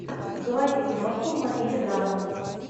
заводи киношку в манере драмы